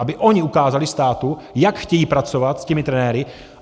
Aby ony ukázaly státu, jak chtějí pracovat s těmi trenéry.